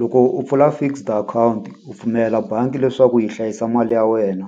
Loko u pfula fixed akhawunti u pfumelela bangi leswaku yi hlayisa mali ya wena